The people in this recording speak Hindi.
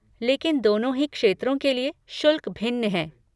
लेकिन दोनों ही क्षेत्रों के लिए शुल्क भिन्न हैं।